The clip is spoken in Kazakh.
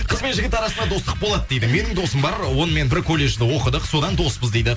қыз бен жігіт арасында достық болады дейді менің досым бар онымен бір колледжде оқыдық содан доспыз дейді